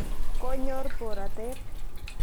Konyoor borotet.